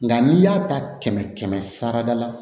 Nka n'i y'a ta kɛmɛ kɛmɛ sara da la